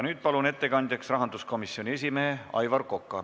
Nüüd palun ettekandjaks rahanduskomisjoni esimehe Aivar Koka.